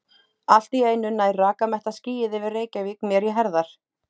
Allt í einu nær rakamettað skýið yfir Reykjavík mér í herðar.